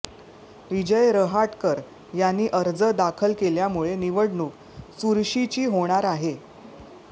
विजय रहाटकर यांनी अर्ज दाखल केल्यामुळे निवडणूक चुरशीची होणार आहे